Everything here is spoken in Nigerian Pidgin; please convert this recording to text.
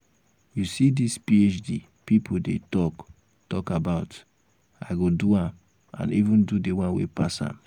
you see dis phd people dey talk talk about i go do am and even do the one wey pass am